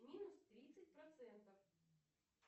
минус тридцать процентов